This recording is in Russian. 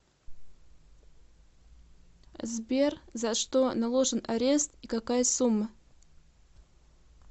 сбер за что наложен арест и какая сумма